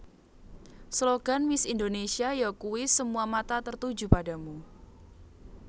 Slogan Miss Indonésia yakuwi Semua Mata Tertuju Padamu